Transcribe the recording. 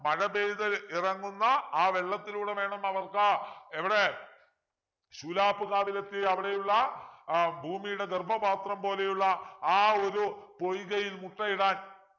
മഴപെയ്ത് ഇറങ്ങുന്ന ആ വെള്ളത്തിലൂടെ വേണം അവർക്ക് എവിടെ ശൂലാപ്പ് കാതിലെത്തി അവിടെയുള്ള ആഹ് ഭൂമിയുടെ ഗർഭപാത്രം പോലെയുള്ള ആ ഒരു പൊയ്കയിൽ മുട്ടയിടാൻ